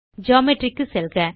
geometry க்கு செல்க